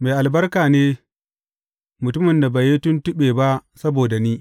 Mai albarka ne mutumin da bai yi tuntuɓe ba saboda ni.